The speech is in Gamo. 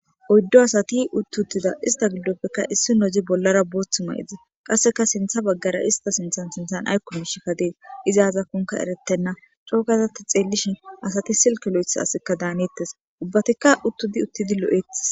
Oyddu asati utti uttida ista giddopekka issinozi bollara booththu mayides; qasseka sinththe bagaara ista sinththan sinththan aykko miishika dees; izi azakonka eretena; coo gaada ta xeelishin asati silke lo'ethiya asiyka da hanetees; ubbatika uttidi uttidi lo'etees.